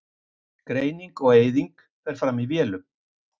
Greining og eyðing fer fram í vélum.